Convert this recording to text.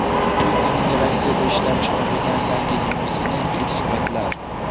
Putinning Rossiyada ishlab chiqarilgan yangi limuzini: ilk suratlar .